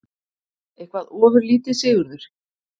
Eitthvað ofurlítið, Sigurður?